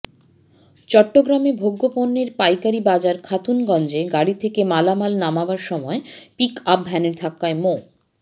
চট্টগ্রামে ভোগ্যপণ্যের পাইকারি বাজার খাতুনগঞ্জে গাড়ি থেকে মালামাল নামানোর সময় পিকআপ ভ্যানের ধাক্কায় মো